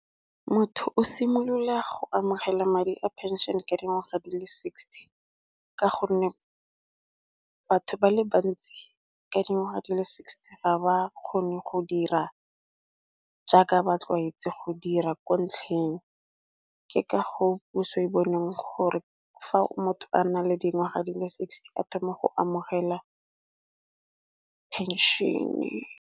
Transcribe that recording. Motho o simolola go amogela madi a phenšene ka dingwaga di le sixty, ka gonne batho ba le bantsi ka dingwaga di le sixty ga ba kgone go dira jaaka ba tlwaetse go dira ko ntlheng. Ke ka go puso e boneng gore fa motho a nna le dingwaga di le sixty a thoma go amogela phenšene.